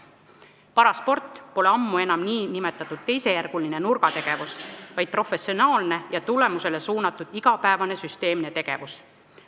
Parasport pole ammu enam nn teisejärguline nurgategevus, vaid professionaalne ja tulemusele suunatud igapäevane süsteemne tegevus.